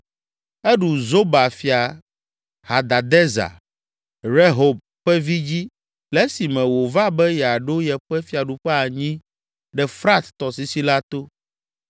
Eɖu Zoba fia Hadadezer, Rehob ƒe vi dzi le esime wòva be yeaɖo yeƒe fiaɖuƒe anyi ɖe Frat tɔsisi la to.